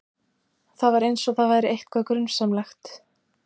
Það var eins og það væri eitthvað grunsamlegt.